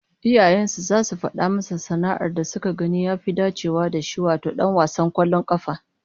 Iyayen sa zasu fada masa sana'ar da suke ganin ya fi dacewa da shi, wato dan wasan kwallon kafa